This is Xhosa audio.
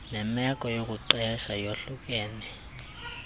nemeko yokuqesha yahlukene